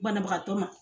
Banabagatɔ ma